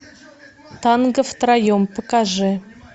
танго втроем покажи